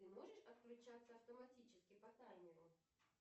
ты можешь отключаться автоматически по таймеру